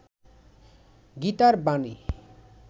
গীতার বাণী